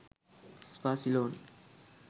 spa ceylon